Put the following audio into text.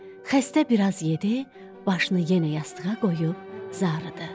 Xəstə biraz yedi, başını yenə yastığa qoyub zarıdı.